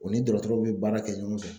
U ni dɔgɔtɔrɔw bɛ baara kɛ ɲɔgɔn fɛ.